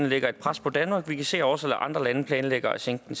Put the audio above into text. lægger et pres på danmark og vi kan se at også andre lande planlægger at sænke